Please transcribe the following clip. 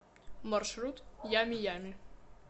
маршрут ями ями